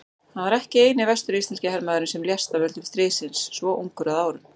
Hann var ekki eini vestur-íslenski hermaðurinn sem lést af völdum stríðsins svo ungur að árum.